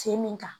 Sen min kan